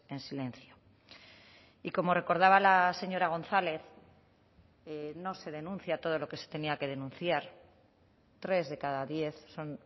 en silencio y como recordaba la señora gonzález no se denuncia todo lo que se tenía que denunciar tres de cada diez son